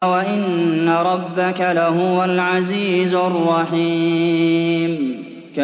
وَإِنَّ رَبَّكَ لَهُوَ الْعَزِيزُ الرَّحِيمُ